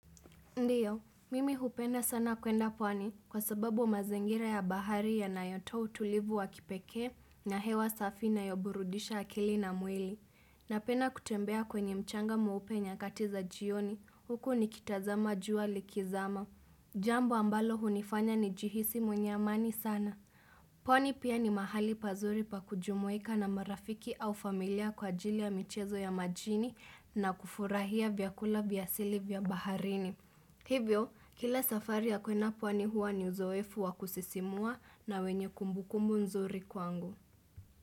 Ndiyo, mimi hupenda sana kwenda pwani kwa sababu mazingira ya bahari yanayotoa utulivu wa kipekee na hewa safi na inayoburudisha akili na mwili. Napenda kutembea kwenye mchanga mweupe nyakati za jioni, huku nikitazama jua likizama. Jambo ambalo hunifanya nijihisi mwenye amani sana. Pwani pia ni mahali pazuri pa kujumuika na marafiki au familia kwa ajili ya michezo ya majini na kufurahia vyakula vya asili vya baharini. Hivyo, kila safari ya kwenda pwani huwa ni uzoefu wa kusisimua na wenye kumbukumbu nzuri kwangu.